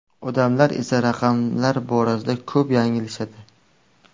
Odamlar esa raqamlar borasida ko‘p yanglishadi.